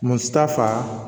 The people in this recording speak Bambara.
Muso ta fa